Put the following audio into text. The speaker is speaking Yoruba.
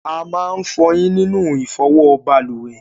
A máa ń fọyín sínú ìfọwọ́ balùwè.